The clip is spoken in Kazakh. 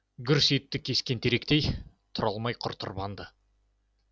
гүрс етті кескен теректей тұра алмай құр тырбанды